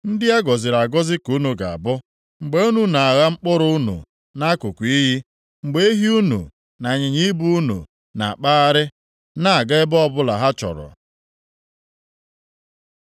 ndị a gọziri agọzi ka unu ga-abụ, mgbe unu na-agha mkpụrụ unu nʼakụkụ iyi, mgbe ehi unu na ịnyịnya ibu unu na-akpagharị na-aga ebe ọbụla ha chọrọ.